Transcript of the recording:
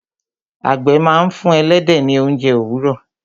àgbẹ̀ máa ń fún ẹlẹ́dẹ̀ ní ounje òwúrọ̀